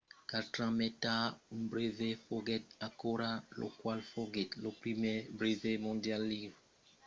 quatre ans mai tard un brevet foguèt acordat lo qual foguèt lo primièr brevet mondial liurat dins lo domeni de mri